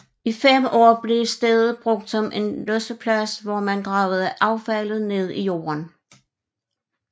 I 5 år blev stedet brugt som losseplads hvor man gravede affaldet ned i jorden